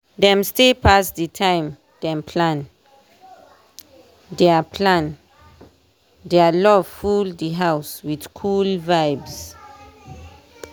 dem stay pass the time dem plan dia plan dia love just full di house wit cool vibes